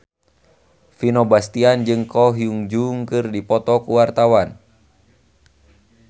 Vino Bastian jeung Ko Hyun Jung keur dipoto ku wartawan